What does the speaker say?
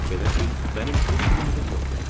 Belə ki, mənim heç bir ümidim yoxdur.